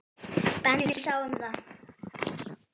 Benni sá um það.